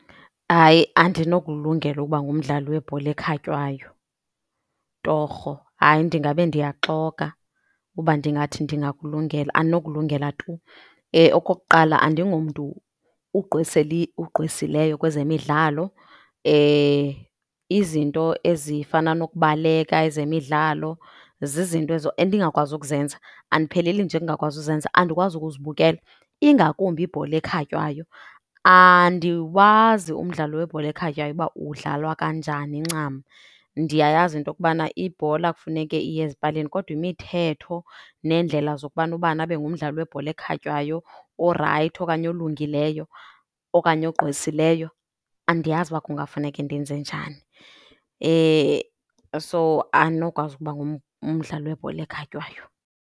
Hayi, andinokulungela ukuba ngumdlali webhola ekhatywayo torho. Hayi, ndingabe ndiyaxoka uba ndingathi ndingakulungela, andinokulungela tu. Okokuqala, andingomntu ugqwesileyo kwezemidlalo. Izinto ezifana nokubaleka, ezemidlalo zizinto ezo endingakwazi ukuzenza, andipheleli nje kungakwazi uzenza andikwazi ukuzibukela, ingakumbi ibhola ekhatywayo. Andiwazi umdlalo webhola ekhatywayo uba udlalwa kanjani ncam. Ndiyayazi into yokubana ibhola kufuneke iye ezipalini kodwa imithetho neendlela zokubana ubani abe ngumdlali webhola ekhatywayo orayithi okanye olungileyo okanye ogqwesileyo, andiyazi uba kungafuneke ndenze njani. So, andinokwazi ukuba ngumdlali webhola ekhatywayo.